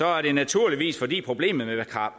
er det naturligvis fordi problemet